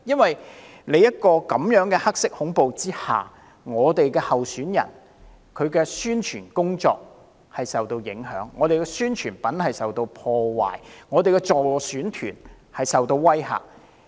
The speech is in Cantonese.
在這樣的"黑色恐怖"之下，我們候選人的宣傳工作受到影響，我們的宣傳品受到破壞，我們的助選團受到威嚇。